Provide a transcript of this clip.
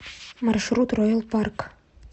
маршрут ройял парк